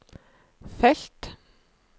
felt